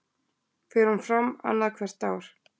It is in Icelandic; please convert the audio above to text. Fer hún fram annað hvert ár